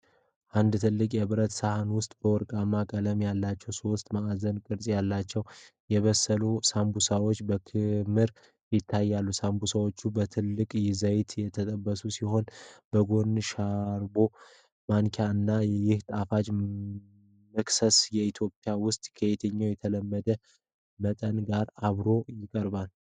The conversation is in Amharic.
በአንድ ትልቅ የብረት ሳህን ውስጥ፣ ወርቃማ ቀለም ያላቸው ሦስት ማዕዘን ቅርጽ ያላቸው የበሰሉ ሳምቡሳዎች በክምር ይታያሉ። ሳምቡሳዎቹ በጥልቅ ዘይት የተጠበሱ ሲመስሉ፣ በጎን የሾርባ ማንኪያ አለ። ይህ ጣፋጭ መክሰስ በኢትዮጵያ ውስጥ ከየትኛው የተለመደ መጠጥ ጋር አብሮ ይቀርባል?